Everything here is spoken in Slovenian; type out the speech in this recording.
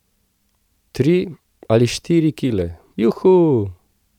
Tri ali štiri kile, juhu!